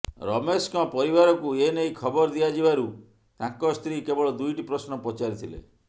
ରମେଶଙ୍କ ପରିବାରକୁ ଏନେଇ ଖବର ଦିଆଯିବାରୁ ତାଙ୍କ ସ୍ତ୍ରୀ କେବଳ ଦୁଇଟି ପ୍ରଶ୍ନ ପଚାରିଥିଲେ